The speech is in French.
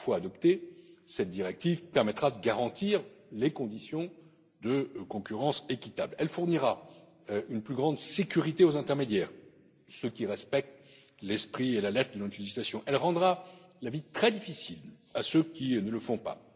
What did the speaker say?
Une fois adoptée, cette directive permettra de garantir des conditions de concurrence équitables. Elle fournira une plus grande sécurité aux intermédiaires qui respectent l'esprit et la lettre de notre législation et elle rendra la vie très difficile à ceux qui ne le font pas.